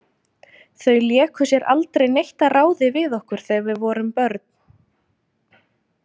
Þau léku sér aldrei neitt að ráði við okkur þegar við vorum börn.